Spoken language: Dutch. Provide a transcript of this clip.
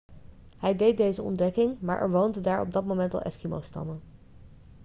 hij deed deze ontdekking maar er woonden daar op dat moment al eskimostammen